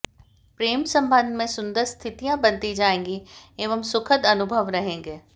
प्रेम संबंध में सुंदर स्थितियां बनती जाएंगी एवं सुखद अनुभव रहेंगे